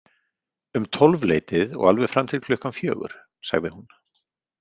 Um tólfleytið og alveg fram til klukkan fjögur, sagði hún.